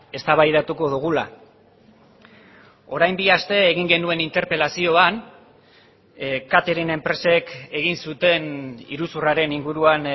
eztabaidatuko dugula orain bi aste egin genuen interpelazioan catering enpresek egin zuten iruzurraren inguruan